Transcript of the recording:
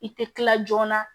I tɛ tila joona